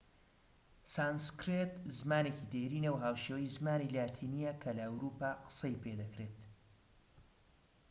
سانسکرێت زمانێکی دێرینە و هاوشێوەی زمانی لاتینیە کە لە ئەوروپا قسەی پێدەکرێت